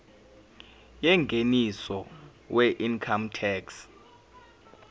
yengeniso weincome tax